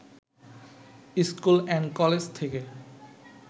school and college থেকে